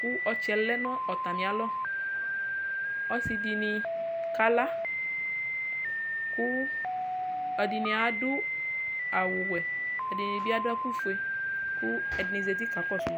kʋ ɔtsɛ lɛnʋ atami alɔ ɔsidini kala kʋ ɛdini adʋ awʋwɛ ɛdini bi adʋ ɛkʋfue kʋ ɛdini zati kakɔsʋ ma